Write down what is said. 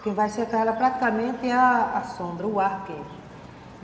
Quem vai secar ela praticamente é a sombra, o ar quente.